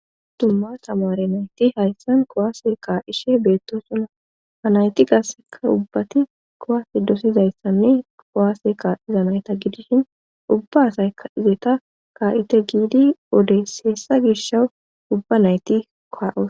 dumma tamare nayti hayssan kuwaase qa ishe beettosunna hanayti gasseka ubbati kowaase dosizayssanne kowaase ka zamareta gidishin ubba asayka izeta ka7ite giidi wode seessa gishawu ubba nayti kowa7os